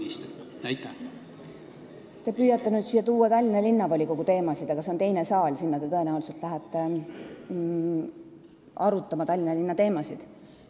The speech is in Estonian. Te püüate mängu tuua Tallinna Linnavolikogu teemasid, aga selleks on teine saal, kuhu te tõenäoliselt lähete arutama Tallinna linna teemasid.